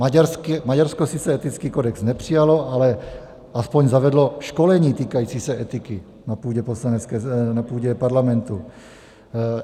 Maďarsko sice etický kodex nepřijalo, ale aspoň zavedlo školení týkající se etiky na půdě parlamentu.